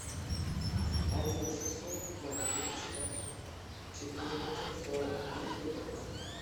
один шестьсот ноль триста четырнадцать сорок три двенадцать